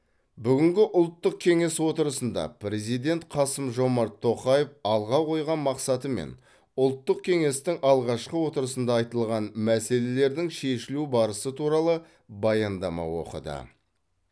бүгінгі ұлттық кеңес отырысында президент қасым жомарт тоқаев алға қойған мақсаты мен ұлттық кеңестің алғашқы отырысында айтылған мәселелердің шешілу барысы туралы баяндама оқыды